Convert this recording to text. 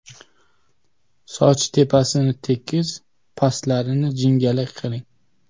Soch tepasini tekis pastlarini jingalak qiling.